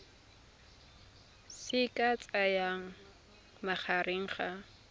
se ka tsayang magareng ga